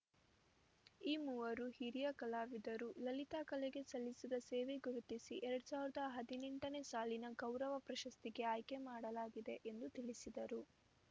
ಈ ಮೂವರು ಹಿರಿಯ ಕಲಾವಿದರು ಲಲಿತಕಲೆಗೆ ಸಲ್ಲಿಸಿದ ಸೇವೆ ಗುರುತಿಸಿ ಎರಡ್ ಸಾವಿರದ ಹದಿನೆಂಟನೇ ಸಾಲಿನ ಗೌರವ ಪ್ರಶಸ್ತಿಗೆ ಆಯ್ಕೆ ಮಾಡಲಾಗಿದೆ ಎಂದು ತಿಳಿಸಿದರು